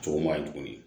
Cogo ma ɲi tuguni